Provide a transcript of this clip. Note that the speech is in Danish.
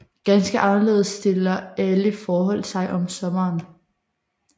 Ganske anderledes stiller alle forhold sig om sommeren